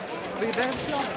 Qardaş, bəyəndilər.